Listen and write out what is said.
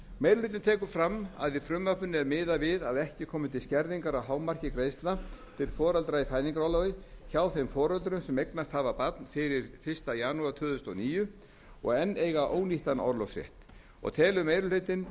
meiri hlutinn tekur fram að í frumvarpinu er miðað við að ekki komi til skerðingar á hámarki greiðslna til foreldra í fæðingarorlofi hjá þeim foreldrum sem eignast hafa barn fyrir fyrsta janúar tvö þúsund og níu og eiga enn ónýttan orlofsrétt og telur meiri hlutinn